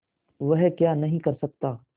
वह क्या नहीं कर सकता